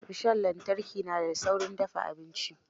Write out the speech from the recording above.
Rishon lantarki na da saurin dafa abinci